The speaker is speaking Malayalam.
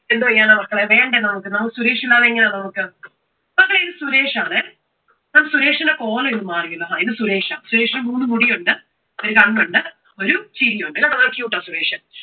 എന്തോ ചെയ്യാനാ മക്കളെ. വേണ്ടേ നമുക്ക്. നമുക്ക് സുരേഷ് ഇല്ലാതെ എങ്ങനാ നമുക്ക്? മക്കളെ ഇത് സുരേഷാണെ. അപ്പോ സുരേഷിനെപ്പോലെ ഇവൻ മാറിയിരിക്കുന്നു. ആ ഇത് സുരേഷാ. സുരേഷിന് മൂന്ന് മുടിയുണ്ട്, ഒരു കണ്ണുണ്ട്, ഒരു ചിരിയുണ്ട്. കണ്ടോ നല്ല cute ആണ് സുരേഷ്,